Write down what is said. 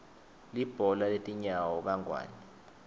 libhola letinyawo kangwane